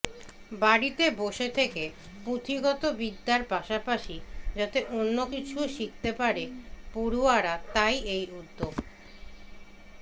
বাড়িতে বসে থেকে পুঁথিগত বিদ্যার পাশাপাশি যাতে অন্য কিছুও শিখতে পারে পড়ুয়ায়া তাই এই উদ্যোগ